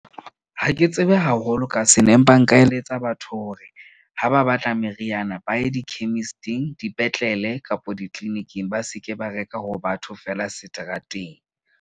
Ha ke tsebe haholo ka sena empa nka eletsa batho hore ha ba batla meriana ba ye di-chemist-ing, dipetlele kapa ditliliniking, ba seke ba reka ho batho feela seterateng.